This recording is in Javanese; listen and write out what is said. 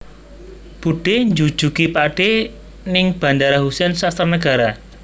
Budhe njujugi pakdhe ning Bandara Husein Sastranegara